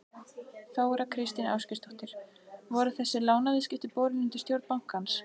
Þóra Kristín Ásgeirsdóttir: Voru þessi lánaviðskipti borin undir stjórn bankans?